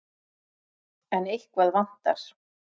En eitthvað vantar.